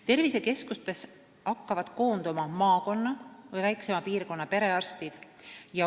Tervisekeskustesse hakkavad koonduma maakonna või väiksema piirkonna perearstid.